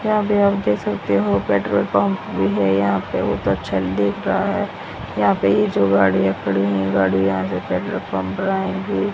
यहां पे आप देख सकते हो पेट्रोल पंप भी है यहां पे बहुत अच्छा दिख रहा है यहां पे ये जो गाड़ियां खड़ी हैं ये गाड़ियां यहां से पेट्रोल पंप डलाएंगी --